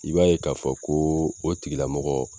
I b'a ye k'a fɔ ko o tigilamɔgɔ